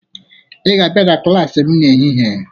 Ị ga-abịa na klaasị m n'ehihie!